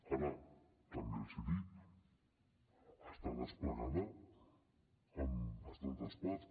ara també els ho dic està desplegada en bastantes parts